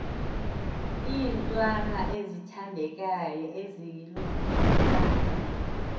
iintwana ezithandekayo ezilusapho